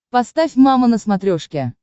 поставь мама на смотрешке